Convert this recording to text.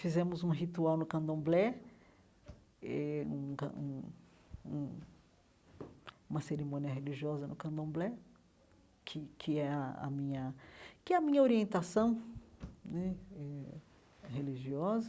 Fizemos um ritual no candomblé eh, um can um um uma cerimônia religiosa no candomblé, que que é a a minha que é a minha orientação né eh religiosa.